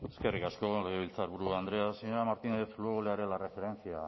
eskerrik asko legebiltzarburu andrea señora martínez luego le haré la referencia